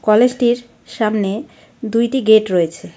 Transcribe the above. কলেজটির সামনে দুইটি গেট রয়েছে.